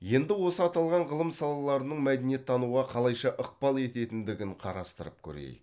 енді осы аталған ғылым салаларының мәдениеттануға қалайша ықпал ететіндігін қарастырып көрейік